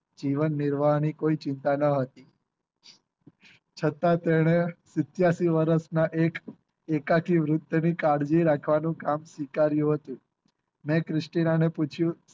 જીવન નિર્વાહ ની કોઈ ચિંતા ન હતી છતાં તેને શીત્યાસી વર્ષ ના એક એકાકી વૃત તરીકે કાળજી રાખવાનું સ્વીકાર્યું હતું મેં ક્રિશ્ટિનાને પૂછ્યું